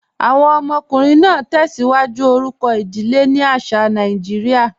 Awọn ọmọkùnrin naa tẹ́síwájú orúkọ idílé ni àṣà Nàìjíríà.